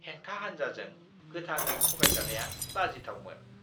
हेंथा हान्जाजों गोथाङै थगायजानाया लाजिथावमोन!